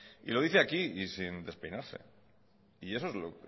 y lo dice aquí y sin despeinarse y eso es lo